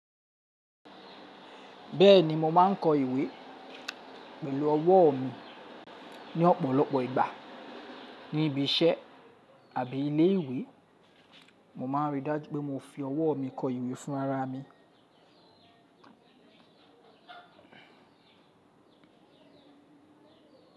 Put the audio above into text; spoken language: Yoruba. Bẹ́ẹ̀ni mo máà ń kọ ìwé pẹ̀lú ọwọ́ mi ní ọ̀pọ̀lọpọ̀ ìgbà. Ní ibi iṣẹ́ àbí ilé ìwé, mo máa n rí dájú pé mo fi ọwọ́ mi kọ ìwé fún ara mi.